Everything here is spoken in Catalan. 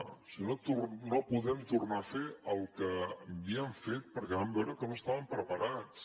o sigui no podem tornar a fer el que havíem fet perquè vam veure que no estàvem preparats